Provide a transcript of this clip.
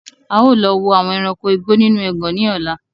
Áà lọ wò àwọn ẹranko igbó nínú ẹgàn ni ọ̀la